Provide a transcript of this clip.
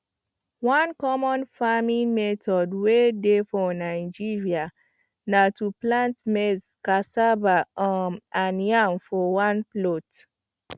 one common farming method way dey for nigeria na to plant maize cassava um and yam for one plot